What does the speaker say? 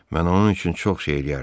Mən onun üçün çox şey eləyərdim.